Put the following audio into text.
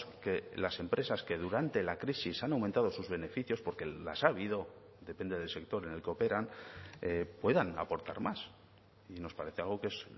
que las empresas que durante la crisis han aumentado sus beneficios porque las ha habido depende del sector en el que operan puedan aportar más y nos parece algo que es